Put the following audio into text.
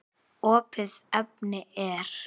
Opið efni er